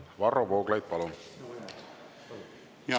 Varro Vooglaid, palun!